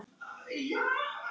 Þín Erna.